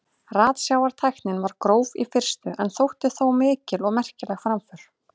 Ratsjártæknin var gróf í fyrstu en þótti þó mikil og merkileg framför.